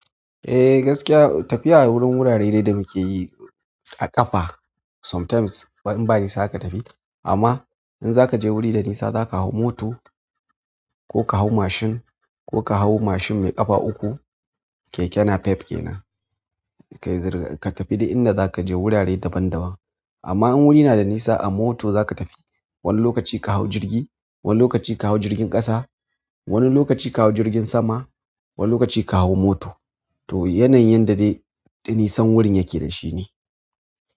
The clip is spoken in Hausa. Eh gaskiya tafiya wurin wurare dai da muke yi a ƙafa sometimes in ba nisa ka tafi amma in zaka je wuri da nisa zaka hau moto ko ka hau mashin ko ka hau mashin mai ƙafa uku. Keke na pipe kenan ka tafi duk inda zaka je wurare daban daban. Keke na pipe kenan ka tafi duk inda zaka je wurare daban daban. Wani lokaci ka hau jirgi, wani lokaci ka hau jirgin ƙasa, wani lokaci ka hau jirgin sama, wani lokaci ka hau mota. Amma in zaka je wuri da nisa zaka hau moto.